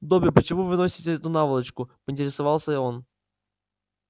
добби почему вы носите эту наволочку поинтересовался он